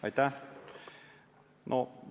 Aitäh!